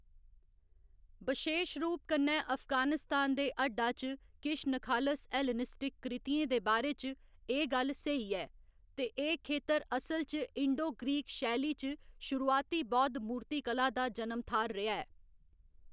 बशेश रूप कन्नै अफगानिस्तान दे हड्डा च किश नखालस हेलेनिस्टिक कृतियें दे बारे च एह्‌‌ गल्ल स्हेई ऐ, ते एह्‌‌ खेतर असल च इंडो ग्रीक शैली च शुरुआती बौद्ध मूर्तीकला दा जनम थाह्‌र रेहा ऐ।